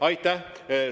Aitäh!